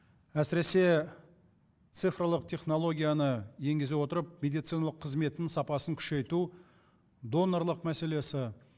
әсіресе цифрлық технологияны енгізе отырып медициналық қызметтің сапасын күшейту донорлық мәселесі